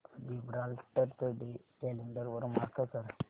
Gibraltar day calendar वर mark कर